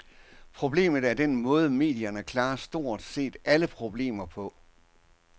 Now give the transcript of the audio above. Problemet er den måde, medierne klarer stort set alle emner på.